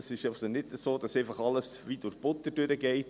Es ist nicht so, dass alles wie durch Butter geht.